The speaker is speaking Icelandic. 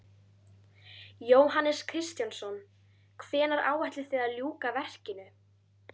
Jóhannes Kristjánsson: Hvenær áætlið þið að ljúka verkinu?